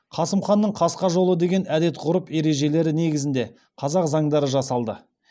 қасым ханның қасқа жолы деген әдет ғұрып ережелері негізінде қазақ заңдары жасалды